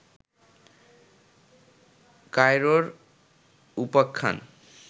কায়রোর উপাখ্যান